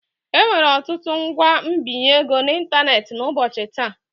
Enwere ọtụtụ ngwa mbinye ego n'ịntanetị n'ụbọchị taa.